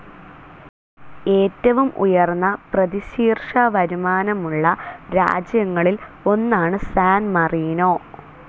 ഏറ്റവും ഉയർന്ന പ്രതിശീർഷ വരുമാനമുള്ള രാജ്യങ്ങളിൽ ഒന്നാണ് സാൻ മറീനോ.